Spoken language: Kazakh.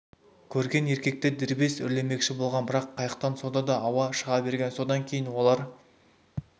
көрген еркектер дербес үрлемекші болған бірақ қайықтан сонда да ауа шыға берген содан кейін олар